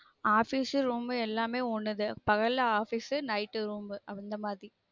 office room எல்லாமே ஒன்னு தன் பகல்ல officenight room அந்த மாதிரி